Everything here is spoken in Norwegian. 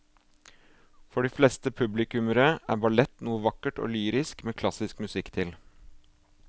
For de fleste publikummere er ballett noe vakkert og lyrisk med klassisk musikk til.